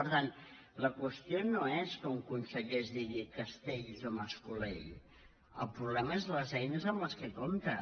per tant la qüestió no és que un conseller es digui cas·tells o mas·colell el problema són les eines amb què compta